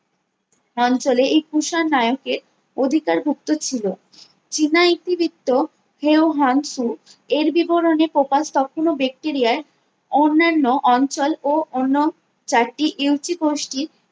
অঞ্চলে এই কুষাণ নায়কের অধিকার ভুক্ত ছিলো চীনা ইতিবৃত্ত কেউ হ্যাংনস ফু এর বিবরণে প্রকাশ কখনো ব্যাকটেরিয়ায় অন্যান্য অঞ্চল ও অন্য চারটি ইউসি গোষ্ঠীর